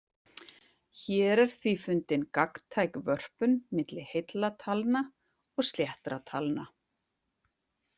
Hér er því fundin gagntæk vörpun milli heilla talna og sléttra talna.